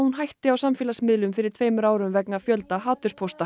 hætti á samfélagsmiðlum fyrir tveimur árum vegna fjölda